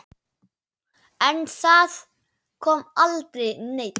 En það kom aldrei neinn.